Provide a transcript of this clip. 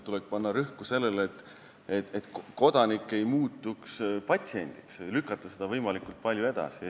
Tuleb panna rõhku sellele, et kodanik ei muutuks patsiendiks või lükata seda võimalikult palju edasi.